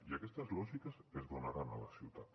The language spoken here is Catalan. i aquestes lògiques es donaran a la ciutat